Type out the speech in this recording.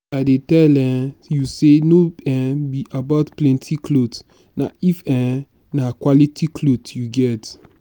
i dey tell um you say no um be about plenty cloth na if um na quality cloth you get